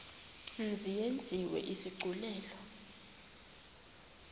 mzi yenziwe isigculelo